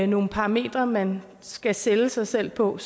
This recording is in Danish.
nogle parametre man skal sælge sig selv på og